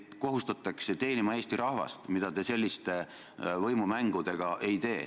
Teid kohustatakse teenima Eesti rahvast, mida te selliste võimumängudega ei tee.